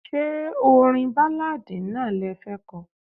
Ṣé orin Báláadì náà le fẹ́ ko?